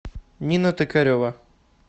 нина токарева